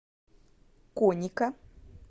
коника